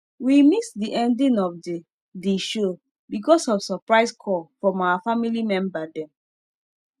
we miss the ending of the the show because of surprise call from our family member them